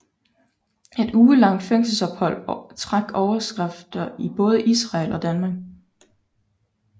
Et ugelangt fængselsophold trak overskrifter i både Israel og Danmark